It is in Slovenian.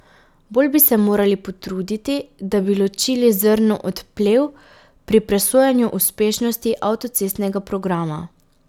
Bolj bi se morali potruditi, da bi ločili zrno od plev pri presojanju uspešnosti avtocestnega programa.